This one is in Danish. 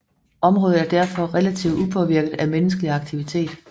Området er derfor relativt upåvirket af menneskelig aktivitet